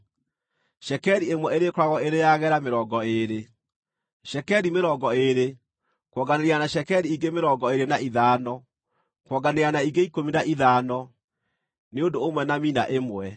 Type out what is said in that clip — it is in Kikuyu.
Cekeri ĩmwe ĩrĩkoragwo ĩrĩ ya gera mĩrongo ĩĩrĩ. Cekeri mĩrongo ĩĩrĩ, kuonganĩrĩria na cekeri ingĩ mĩrongo ĩĩrĩ na ithano, kuonganĩrĩria na ingĩ ikũmi na ithano, nĩ ũndũ ũmwe na mina ĩmwe.